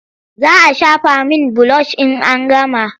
Za a shafa min bilosh in an gama.